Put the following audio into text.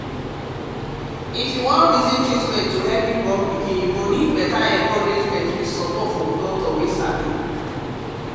um if youbwan reason treatment to help born pikin you go need better encouragement with support from doctor wey sabi